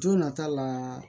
Jo nata la